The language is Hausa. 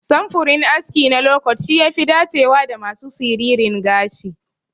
Samfurin aski na lokot shi yafi dacewa da masu siririn gashi.